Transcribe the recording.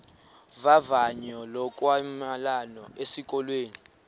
vavanyo lokwamkelwa esikolweni